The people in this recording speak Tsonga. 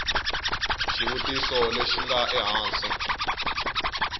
xivutiso lexi xi nga ehansi